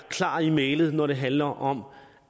klar i mælet når det handler om